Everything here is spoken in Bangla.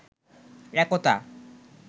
একতা